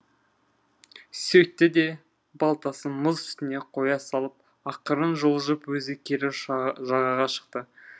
сөйтті де балтасын мұз үстіне қоя салып ақырын жылжып өзі кері жағаға шықты